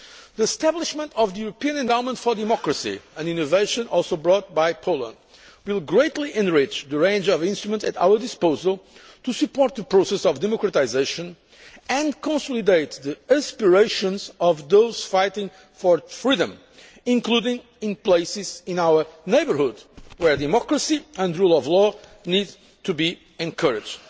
The establishment of the European Endowment for Democracy, an innovation also introduced by Poland, will greatly enrich the range of instruments at our disposal to support the process of democratisation and consolidate the aspirations of those fighting for freedom, including in places in our neighbourhood where democracy and rule of law needs to be encouraged.